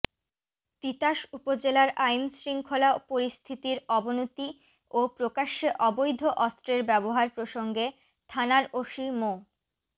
তিতাস উপজেলার আইনশৃঙ্খলা পরিস্থিতির অবনতি ও প্রকাশ্যে অবৈধ অস্ত্রের ব্যবহার প্রসঙ্গে থানার ওসি মো